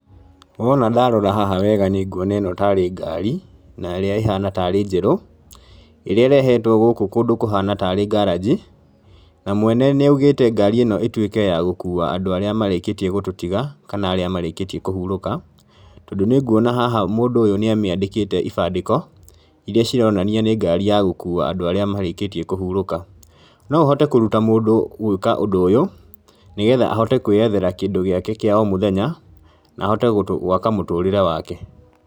Wona ndarora haha wega nĩ nguona ĩno tarĩ ngaari, na ĩrĩa ĩhana tarĩ njerũ, ĩrĩa irehetwo gũkũ kũndũ kũhana tarĩ ngaranji, na mwene nĩ augĩte ngaari ĩno ĩtuĩke ya gũkuua andũ arĩa marĩkĩtie gũtũtiga kana arĩa marĩkĩtie kũhurũka, tondũ nĩ nguona haha mũndũ ũyũ nĩ amĩandĩkĩte ibandĩko, iria cironania nĩ ngaari ya gũkuua andũ arĩa marĩkĩtie kũhurũka, no ũhote kũruta mũndũ gwĩka ũndũ ũyũ, nĩgetha ahote kwĩyethera kĩndũ gĩake kĩa o mũthenya, na ahote gwaka mũtũrĩre wake.